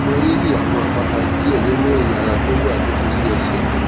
mo rí rí àwọn àpáta díẹ nínú ẹyà ara tó wà nítòsí ẹsè